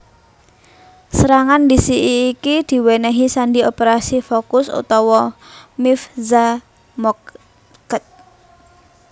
Serangan ndhisiki iki diwènèhi sandi Operasi Focus utawa Mivtza Moked